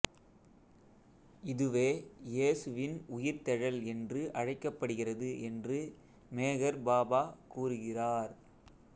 இதுவே இயேசுவின் உயிர்த்தெழுதல் என்று அழைக்கப்படுகிறது என்று மேகர் பாபா கூறுகிறார்